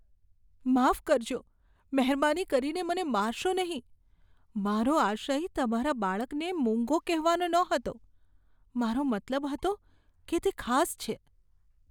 માફ કરશો, મહેરબાની કરીને મને મારશો નહીં. મારો આશય તમારા બાળકને મૂંગો કહેવાનો ન હતો. મારો મતલબ હતો કે તે ખાસ છે.